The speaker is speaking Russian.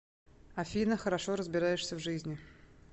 афина хорошо разбираешься в жизни